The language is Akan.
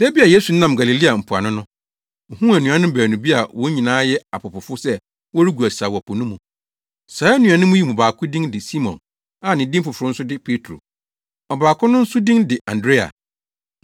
Da bi a Yesu nam Galilea mpoano no, ohuu anuanom baanu bi a wɔn nyinaa yɛ apopofo sɛ wɔregu asau wɔ po no mu. Saa anuanom yi mu baako din de Simon a ne din foforo nso de Petro. Ɔbaako no nso din de Andrea.